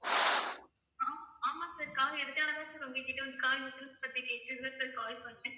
ஆமா sir car எடுத்ததனாலதான் sir உங்ககிட்ட வந்து car insurance பத்தி கேக்குறதுக்கு தான் sir call பண்ணேன்.